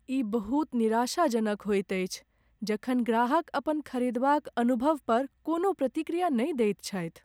ई बहुत निराशाजनक होइत अछि जखन ग्राहक अपन खरीदबा क अनुभव पर कोनो प्रतिक्रिया नहि दैत छथि।